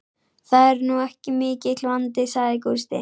Það er nú ekki mikill vandi, sagði Gústi.